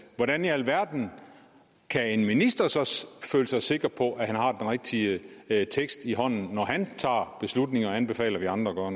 hvordan i alverden kan en minister så føle sig sikker på at han har den rigtige tekst i hånden når han tager beslutninger og anbefaler at vi andre